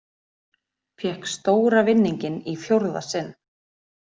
Fékk stóra vinninginn í fjórða sinn